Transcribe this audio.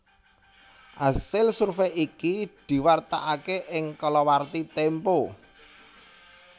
Asil survèy iki diwartakaké ing kalawarti Tempo